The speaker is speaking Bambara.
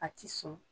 A ti sɔn